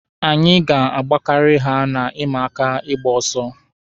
Anyị ga-agbakari ha na ịma aka ịgba ọsọ.